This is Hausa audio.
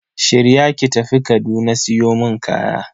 Shirya ki tafi Kaduna siyo mun kaya.